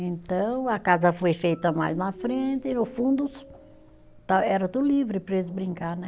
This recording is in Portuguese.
Então a casa foi feita mais na frente e no fundos tá, era livre para eles brincar, né?